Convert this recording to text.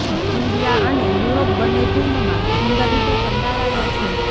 India અને Europe બંને ફિલ્મમાં સુંદર રીતે કંડારાયા છે